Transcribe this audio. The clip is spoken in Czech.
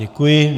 Děkuji.